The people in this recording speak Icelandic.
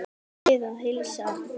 Bið að heilsa afa.